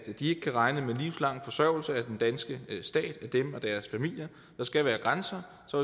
de ikke kan regne med livslang forsørgelse af den danske stat af dem og deres familier der skal være grænser så